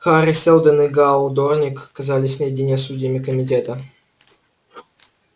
хари сэлдон и гаал дорник оказались наедине с судьями комитета